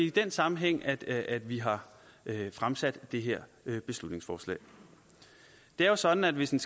i den sammenhæng at at vi har fremsat det her beslutningsforslag det er jo sådan at hvis en